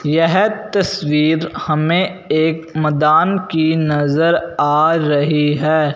यह तस्वीर हमें एक मदान की नजर आ रही है।